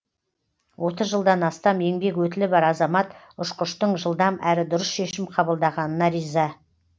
отыз жылдан астам еңбек өтілі бар азамат ұшқыштың жылдам әрі дұрыс шешім қабылдағанына риза